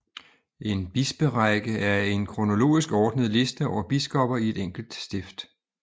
En bisperække er en kronologisk ordnet liste over biskopper i et enkelt stift